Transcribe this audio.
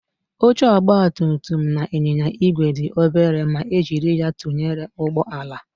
Oche ọgbatumtum na ịnyịnya igwe dị obere ma e jiri ya tụnyere ụgbọala